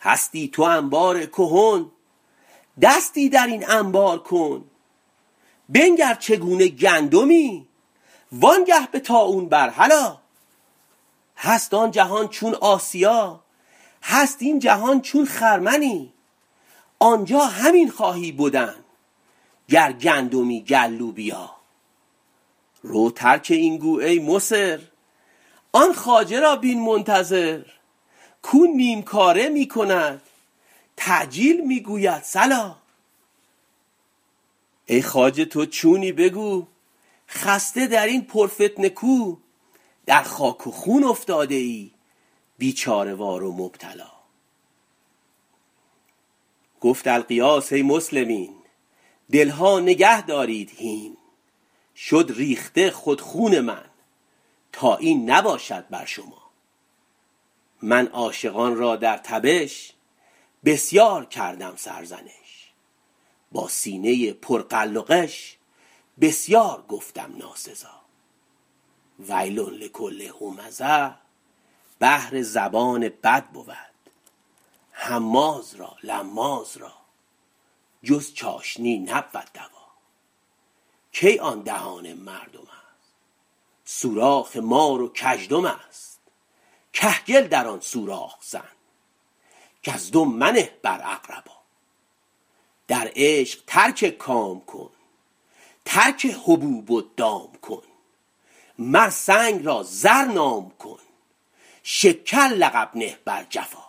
هستی تو انبار کهن دستی در این انبار کن بنگر چگونه گندمی وانگه به طاحون بر هلا هست آن جهان چون آسیا هست این جهان چون خرمنی آنجا همین خواهی بدن گر گندمی گر لوبیا رو ترک این گو ای مصر آن خواجه را بین منتظر کاو نیم کاره می کند تعجیل می گوید صلا ای خواجه تو چونی بگو خسته در این پرفتنه کو در خاک و خون افتاده ای بیچاره وار و مبتلا گفت الغیاث ای مسلمین دل ها نگهدارید هین شد ریخته خود خون من تا این نباشد بر شما من عاشقان را در تبش بسیار کردم سرزنش با سینه پر غل و غش بسیار گفتم ناسزا ویل لکل همزه بهر زبان بد بود هماز را لماز را جز چاشنی نبود دوا کی آن دهان مردم است سوراخ مار و کژدم است کهگل در آن سوراخ زن کزدم منه بر اقربا در عشق ترک کام کن ترک حبوب و دام کن مر سنگ را زر نام کن شکر لقب نه بر جفا